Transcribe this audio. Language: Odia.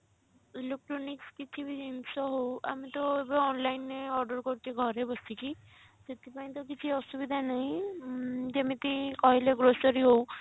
electronics କିଛି ବି ଜିନିଷ ହଉ ଆମେ ତ ଏବେ online ରେ order କରୁଛେ ଘରେ ବସିକି ସେଥିପାଇଁ ତ କିଛି ଅସୁବିଧା ନାହିଁ ଉଁ ଯେମିତି କହିଲେ grocery ହଉ